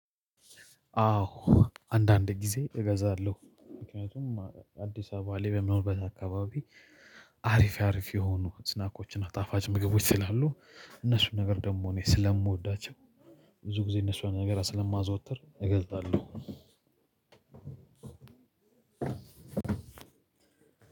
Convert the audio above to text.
አዎ አንዳንድ ጊዜ እገዛለሁ ምክንያቱም አዲስ አበባ ላይ በምኖርበት አካባቢ አሪፍ አሪፍ የሆኑ ስናኮችን እና ጣፋጭ ምግቦች ስላሉ እነሱን ነገር ደግሞ እኔ ስለምወዳቸው ብዙ ጊዜ እነሱን ነገር ስለማዘወትር። እገልጣለሁ